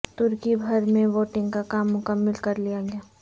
ترکی بھر میں ووٹنگ کا کام مکمل کرلیا گیا